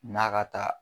N'a ka taa